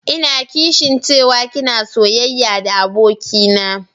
Ina kishin cewa ki na soyayya da abokina.